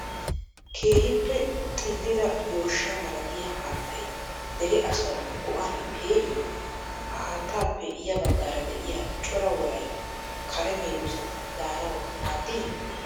Keehippe xillida yooshshaa malatiyaa haattay dere asaawu go''aan pee''ii? Ha haattappe ya baggaara de'iyaa coraa woray kare meedossati daanawu maaddii?